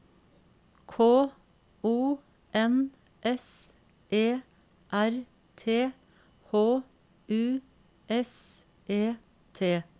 K O N S E R T H U S E T